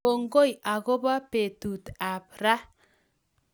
Kongoi akobo betut ab ra